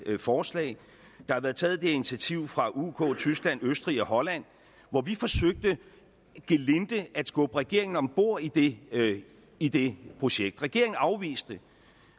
forslag der har været taget et initiativ fra uk tyskland østrig og holland og vi forsøgte gelinde at skubbe regeringen om bord i det i det projekt regeringen afviste det